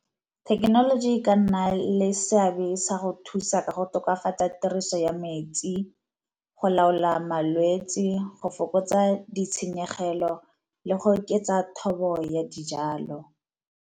Thekenoloji e ka nna le seabe sa go thusa ka go tokafatsa tiriso ya metsi, go laola malwetse, go fokotsa ditshenyegelo, le go oketsa thobo ya dijalo.